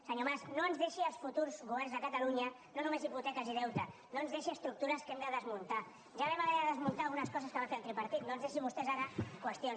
senyor mas no ens deixi als futurs governs de catalunya no només hipoteques i deute no ens deixi estructures que hem de desmuntar ja vam haver de desmuntar algunes coses que va fer el tripartit no ens deixin vostès ara qüestions